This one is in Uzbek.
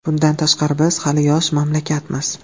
Bundan tashqari, biz hali yosh mamlakatmiz.